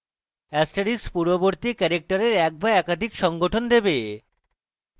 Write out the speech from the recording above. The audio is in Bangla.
* পূর্ববর্তী ক্যারেক্টারের এক বা একাধিক সংঘটন দেবে